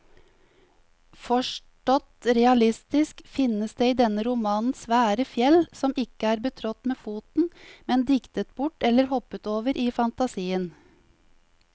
Forstått realistisk finnes det i denne romanen svære fjell som ikke er betrådt med foten, men diktet bort eller hoppet over i fantasien.